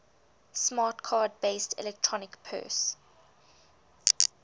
smart card based electronic purse